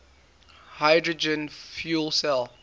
hydrogen fuel cell